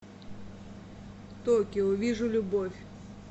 токио вижу любовь